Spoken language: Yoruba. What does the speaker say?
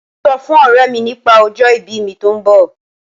Mo sọ fún ọ̀rẹ́ mi nípa ọjọ ìbí mi tó ń bọ̀.